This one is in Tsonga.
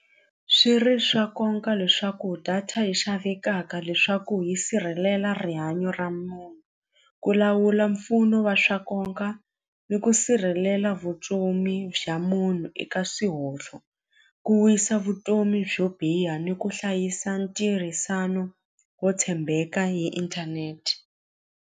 Swi ri swa leswaku data yi xavekaka leswaku yi sirhelela rihanyo ra munhu ku lawula mpfuno wa swa ni ku sirhelela vutomi bya munhu eka swihontlo ku wisa vutomi byo biha ni ku hlayisa ntirhisano wo tshembeka hi inthanete.